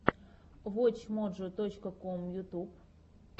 вотч моджо точка ком ютьюб